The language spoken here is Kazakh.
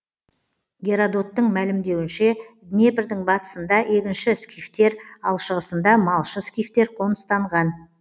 геродоттың мәлімдеуінше днепрдің батысында егінші скифтер ал шығысында малшы скифтер қоныстанған